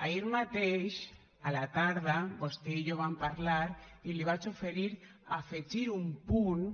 ahir mateix a la tarda vostè i jo vam parlar i li vaig oferir afegir un punt